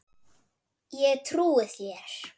Ég trúi þér